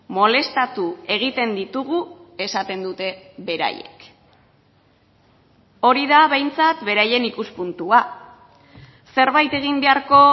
molestatu egiten ditugu esaten dute beraiek hori da behintzat beraien ikuspuntua zerbait egin beharko